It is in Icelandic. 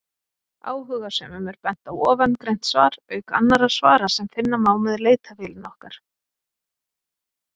Áhugasömum er bent á ofangreint svar, auk annarra svara sem finna má með leitarvélinni okkar.